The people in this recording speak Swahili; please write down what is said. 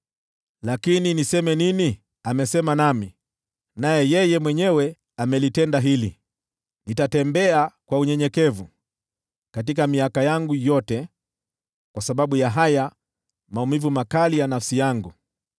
Lakini niseme nini? Amesema nami, naye yeye mwenyewe amelitenda hili. Nitatembea kwa unyenyekevu katika miaka yangu yote kwa sababu ya haya maumivu makali ya nafsi yangu.